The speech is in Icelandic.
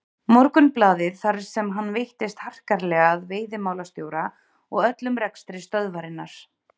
Morgunblaðið þar sem hann veittist harkalega að veiðimálastjóra og öllum rekstri stöðvarinnar.